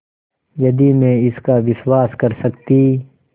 यदि मैं इसका विश्वास कर सकती